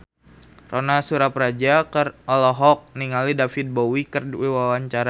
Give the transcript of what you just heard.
Ronal Surapradja olohok ningali David Bowie keur diwawancara